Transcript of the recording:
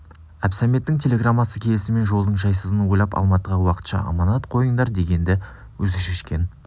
әбсәметтің телеграммасы келісімен жолдың жайсызын ойлап алматыға уақытша аманат қойыңдар дегенді өзі шешкен